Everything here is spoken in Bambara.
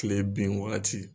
Tile bin wagati